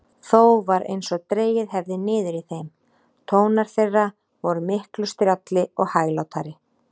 Þó var einsog dregið hefði niður í þeim: tónar þeirra vor miklu strjálli og hæglátari.